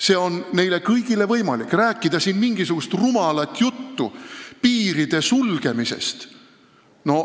See on neile kõigile võimalik ja rumal on rääkida siin mingisugust juttu piiride sulgemisest.